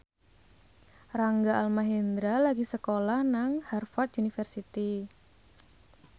Rangga Almahendra lagi sekolah nang Harvard university